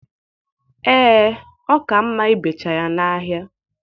Ee, ọ ka mma ibecha ya n'ahịa.